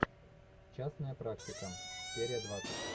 частная практика серия двадцать